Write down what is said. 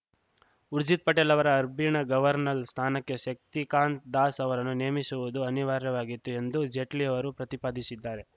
ಊರ್ಜಿತ್‌ ಪಟೇಲ್‌ ಅವರು RBI governor ಸ್ಥಾನಕ್ಕೆ ಶಕ್ತಿಕಾಂತ್‌ ದಾಸ್‌ ಅವರನ್ನು ನೇಮಿಸುವುದು ಅನಿವಾರ್ಯವಾಗಿತ್ತು ಎಂದು ಜೇಟ್ಲಿ ಅವರು ಪ್ರತಿಪಾದಿಶಿದ್ದಾರೆ